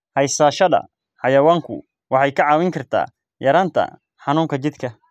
Haysashada xayawaanku waxay kaa caawin kartaa yaraynta xanuunka jidhka.